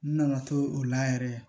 N nana to o la yɛrɛ